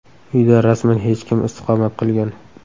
Uyda rasman hech kim istiqomat qilgan.